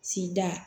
Sida